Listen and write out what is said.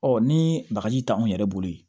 Ɔ ni bagaji t' anw yɛrɛ bolo yen